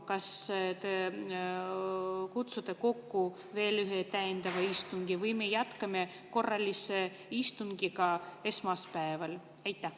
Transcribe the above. Kas te kutsute kokku veel ühe täiendava istungi või me jätkame korralise istungiga esmaspäeval?